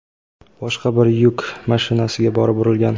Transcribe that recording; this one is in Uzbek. boshqa bir yuk mashinasiga borib urilgan.